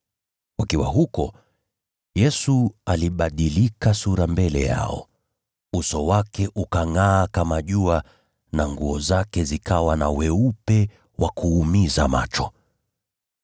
Wakiwa huko, Yesu alibadilika sura mbele yao. Uso wake ukangʼaa kama jua na nguo zake zikawa na weupe wa kuumiza macho.